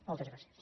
moltes gràcies